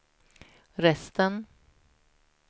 resten